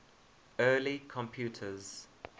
early computers